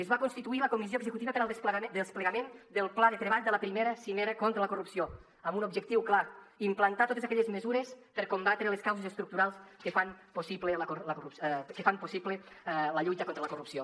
es va constituir la comissió executiva per al desplegament del pla de treball de la i cimera contra la corrupció amb un objectiu clar implantar totes aquelles mesures per combatre les causes estructurals que fan possible la lluita contra la corrupció